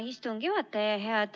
Hea istungi juhataja!